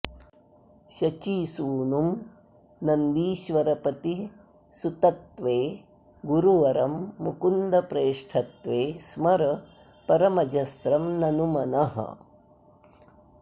शचीसूनुं नन्दीश्वरपतिसुतत्वे गुरुवरं मुकुन्दप्रेष्ठत्वे स्मर परमजस्रं ननु मनः